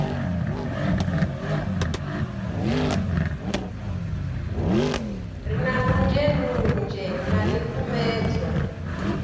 re na ndunzhendunzhe na ḽikumedzwa